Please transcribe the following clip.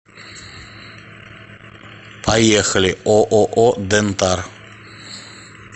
поехали ооо дентар